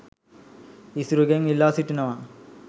ඉසුරුගෙන් ඉල්ලා සිටිනවා